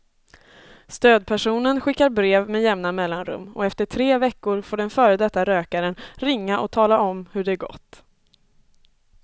Stödpersonen skickar brev med jämna mellanrum och efter tre veckor får den före detta rökaren ringa och tala om hur det gått.